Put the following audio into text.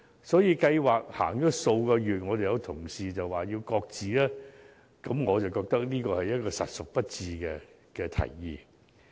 所以當計劃實行了數個月，便有同事提出要求擱置計劃，我認為這提議實屬不智。